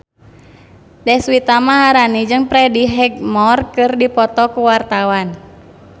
Deswita Maharani jeung Freddie Highmore keur dipoto ku wartawan